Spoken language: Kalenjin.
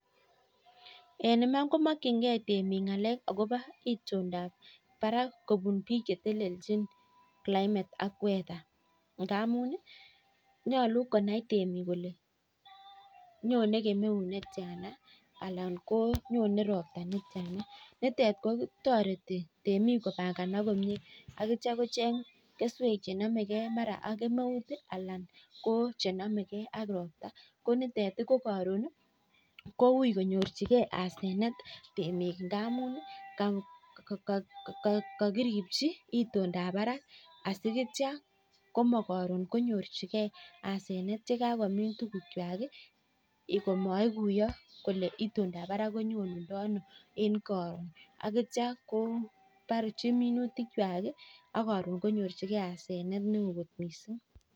Nyaluu konai temik kolee nyonee kemeut netya anan ko ropta akocheng keswek chenamekei ak itondo ab emet